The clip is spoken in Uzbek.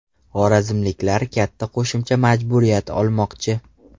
Xorazmliklar katta qo‘shimcha majburiyat olmoqchi.